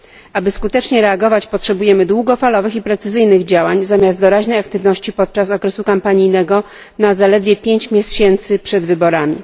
Aby skutecznie reagować, potrzebujemy długofalowych i precyzyjnych działań zamiast doraźnej aktywności podczas okresu kampanijnego na zaledwie 5 miesięcy przed wyborami.